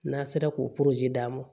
N'a sera k'o d'a ma